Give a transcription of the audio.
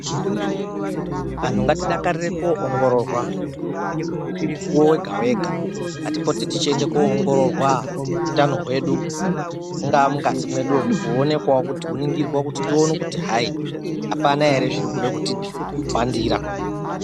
Antu ngatidakarire koongororwa mukuwo wega-wega ngatipote tichienda kunoongororwa utano hwedu mungaa mungazi mwedumo kuonekwawo kuti apana here zvirikude kutihwandira.